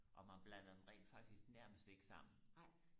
og man blander dem rent faktisk nærmest ikke sammen